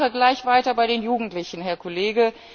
Ich mache gleich weiter bei den Jugendlichen, Herr Kollege.